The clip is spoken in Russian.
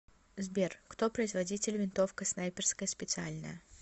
сбер кто производитель винтовка снайперская специальная